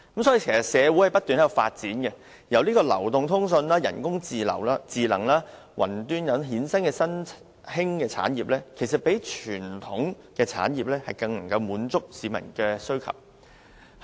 社會正在不斷發展，由流動通訊、人工智能及雲端科技等衍生的新興產業，比傳統產業更能滿足市民需求。